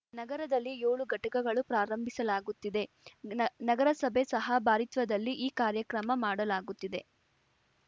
ನಗರದಲ್ಲಿ ಯೋಳು ಘಟಕಗಳು ಪ್ರಾರಂಭಿಸಲಾಗುತ್ತಿದೆ ನ ನಗರಸಭೆ ಸಹ ಭಾರಿತ್ವದಲ್ಲಿ ಈ ಕಾರ್ಯಕ್ರಮ ಮಾಡಲಾಗುತ್ತಿದೆ